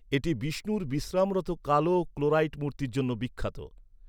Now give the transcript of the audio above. এটি বিষ্ণুর বিশ্রামরত কালো ক্লোরাইট মূর্তির জন্য বিখ্যাত।